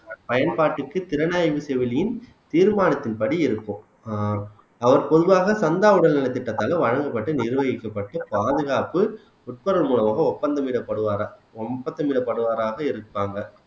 பயன்பாட்டுக்கு திறனாய்வு செவிலியின் தீர்மானத்தின்படி இருக்கும் ஆஹ் அவர் பொதுவாக சந்தா உடல் நலத்திட்டத்தாலே வழங்கப்பட்டு நிர்வகிக்கப்பட்டு பாதுகாப்பு ஒப்புரவு மூலமாக ஒப்பந்தம் இடப்படுவாரா ஒப்பந்தம் இடப்படுவாராக இருப்பாங்க